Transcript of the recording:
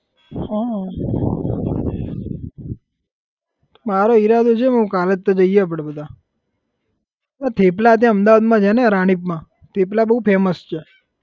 હા મારો ઈરાદો છે કાલે જઈએ આપડે બધા અલા થેપલા ત્યાં અમદાવાદમાં છે ને રાણીપમાં થેપલા બહુ famous છે.